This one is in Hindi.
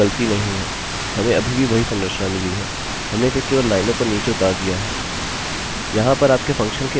यहाँ पर कोई गलती नहीं है हमें अभी भी वही संरचना मिली है हमने इसे केवल लाइनों पर नीचे उतार दिया है